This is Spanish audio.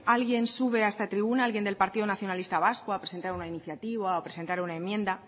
alguien sube a esta tribuna alguien del partido nacionalista vasco a presentar una iniciativa o a presentar una enmienda